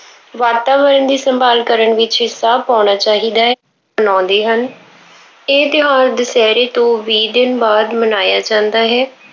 ਵਾਤਾਵਰਣ ਦੀ ਸੰਭਾਲ ਕਰਨ ਵਿੱਚ ਹਿੱਸਾ ਪਾਉਣਾ ਚਾਹੀਦਾ ਹੈ। ਮਨਾਉਂਦੇ ਹਨ। ਇਹ ਤਿਉਹਾਰ ਦੁਸਹਿਰੇ ਤੋਂ ਵੀਹ ਦਿਨ ਬਾਅਦ ਮਨਾਇਆ ਜਾਂਦਾ ਹੈ।